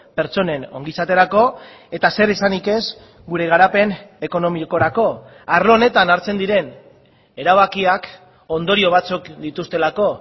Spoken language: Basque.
pertsonen ongizaterako eta zer esanik ez gure garapen ekonomikorako arlo honetan hartzen diren erabakiak ondorio batzuk dituztelako